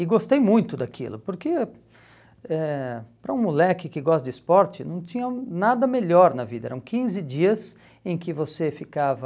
e gostei muito daquilo, porque eh para um moleque que gosta de esporte não tinha nada melhor na vida, eram quinze dias em que você ficava